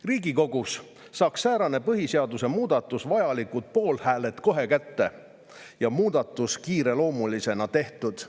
Riigikogus saaks säärane põhiseaduse muudatus vajalikud poolthääled kohe kätte ja muudatus kiireloomulisena tehtud.